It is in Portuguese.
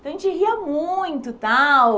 Então a gente ria muito, tal.